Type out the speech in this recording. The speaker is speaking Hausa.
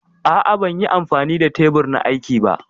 A'a ban yi amfani da tebur na aiki ba.